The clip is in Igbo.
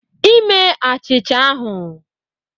Ime achicha ahụ